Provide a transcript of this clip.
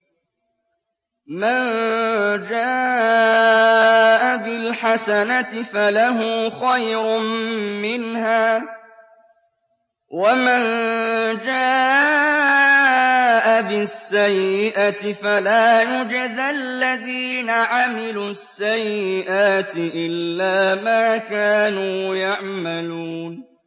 مَن جَاءَ بِالْحَسَنَةِ فَلَهُ خَيْرٌ مِّنْهَا ۖ وَمَن جَاءَ بِالسَّيِّئَةِ فَلَا يُجْزَى الَّذِينَ عَمِلُوا السَّيِّئَاتِ إِلَّا مَا كَانُوا يَعْمَلُونَ